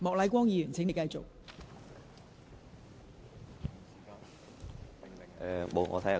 莫乃光議員，請繼續發言。